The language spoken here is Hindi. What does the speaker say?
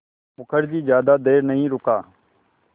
मुखर्जी ज़्यादा देर नहीं रुका